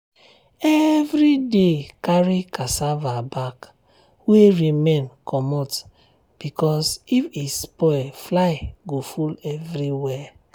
every day carry cassava back wey remain comot because if e spoil fly go full everywhere.